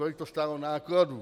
Kolik to stálo nákladů.